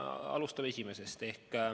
Alustame esimesest.